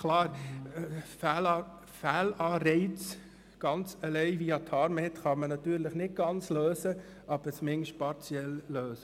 Klar, Fehlanreize kann man natürlich alleine via TARMED nicht ganz, aber zumindest partiell lösen.